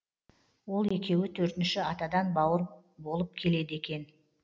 ол екеуі төртінші атадан бауыр болып келеді екен